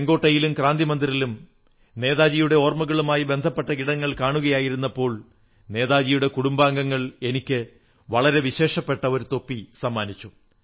ചുവപ്പ് കോട്ടയിലും ക്രാന്തിമന്ദിറിലും നേതാജിയുടെ ഓർമ്മകളുമായി ബന്ധപ്പെട്ട ഇടങ്ങൾ കാണുകയായിരുന്നപ്പോൾ നേതാജിയുടെ കുടുംബാംഗങ്ങൾ എനിക്ക് വളരെ വിശേഷപ്പെട്ട ഒരു തൊപ്പി സമർപ്പിച്ചു